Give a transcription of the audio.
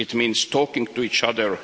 It means talking to each other.